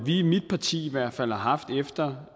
i mit parti i hvert fald har haft efter